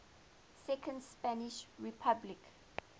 second spanish republic